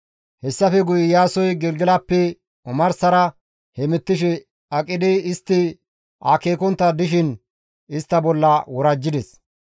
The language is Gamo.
Hessafe guye Iyaasoy Gelgelappe omarsara hemettishe aqidi istti akeekontta dishin istta bolla worajjides.